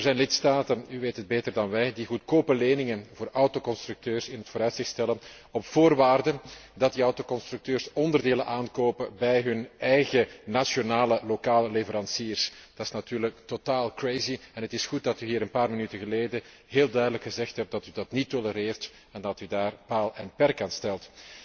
Er zijn lidstaten u weet het beter dan wij die goedkope leningen voor autoconstructeurs in het vooruitzicht stellen op voorwaarde dat die autoconstructeurs onderdelen aankopen bij hun eigen nationale lokale leveranciers. Dat is natuurlijk totaal en het is goed dat u hier een paar minuten geleden heel duidelijk gezegd heeft dat u dat niet tolereert en dat u daaraan paal en perk stelt.